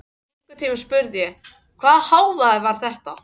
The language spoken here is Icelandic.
En einhvern tímann spurði ég: Hvaða hávaði var þetta?